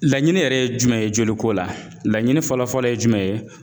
Laɲini yɛrɛ ye jumɛn ye joli ko la? Laɲini fɔlɔ-fɔlɔ ye jumɛn ye?